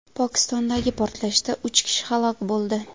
Pokistondagi portlashda uch kishi halok bo‘ldi.